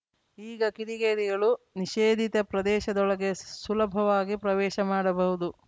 ಈಗ ಕಿಡಿಗೇಡಿಗಳು ನಿಷೇಧಿತ ಪ್ರದೇಶದೊಳಗೆ ಸುಲುಭವಾಗಿ ಪ್ರವೇಶ ಮಾಡಬಹುದು